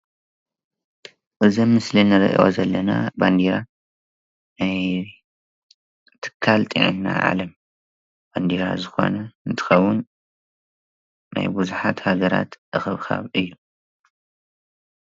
እዙይ ኣብ ምስሊ እንሪእዮ ዘለና ባንዴራ ናይ ትካል ጥዕና ዓለም እንትከውን ናይ ብዙሓት ሃገራት እክብካብ እዩ።